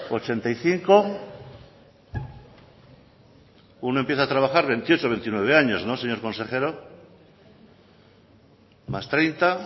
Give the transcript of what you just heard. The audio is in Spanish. ochenta y cinco uno empieza a trabajar veintiocho o veintinueve años no señor consejero más treinta